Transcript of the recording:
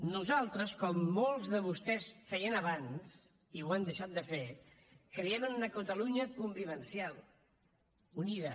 nosaltres com molts de vostès feien abans i ho han deixat de fer creiem en una catalunya convivencial unida